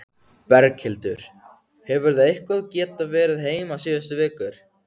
Berghildur: Hefurðu eitthvað geta verið heima síðustu vikur?